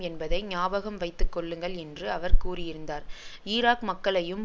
என்பதை ஞாபகம் வைத்துக்கொள்ளுங்கள் என்று அவர் கூறியிருந்தார் ஈராக் மக்களையும்